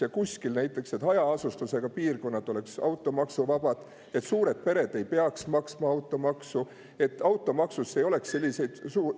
Ja et näiteks hajaasustusega piirkonnad oleksid automaksuvabad, et suured pered ei peaks maksma automaksu, et automaksus ei oleks selliseid …